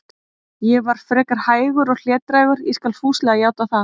Ég var frekar hægur og hlédrægur, ég skal fúslega játa það.